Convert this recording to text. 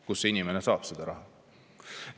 Kust inimene saab selle raha?